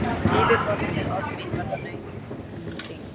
Yfirborðsleg orð mín verða nautn þín.